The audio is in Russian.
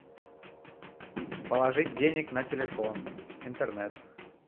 положить денег на телефон интернет